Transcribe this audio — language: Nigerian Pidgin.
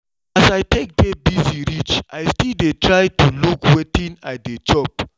as i take dey busy reach i still dey try to look wetin i dey chop